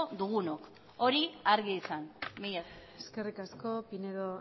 dugunok hori argi izan mila esker eskerri asko pinedo